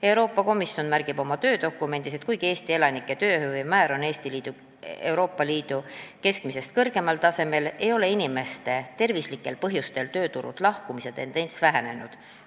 Euroopa Komisjon märgib oma töödokumendis, et kuigi Eesti elanike tööhõive määr on Euroopa Liidu keskmisest kõrgemal tasemel, ei ole inimeste tervislikel põhjustel tööturult lahkumise tendents vähenenud.